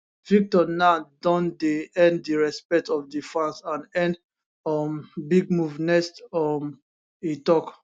victor now don earn di respect of di fans and earn um big move next um e tok